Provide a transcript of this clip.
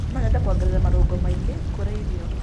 No nyende kuongerera marũngo maingĩ kũrĩ irio.